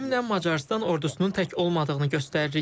Təlimlə Macarıstan ordusunun tək olmadığını göstəririk.